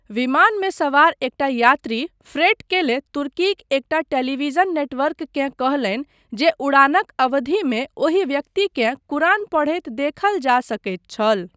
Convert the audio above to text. विमानमे सवार एकटा यात्री फ्रैट केले तुर्कीक एकटा टेलीविजन नेटवर्ककेँ कहलनि जे उड़ानक अवधिमे ओहि व्यक्तिकेँ कुरान पढ़ैत देखल जा सकैत छल।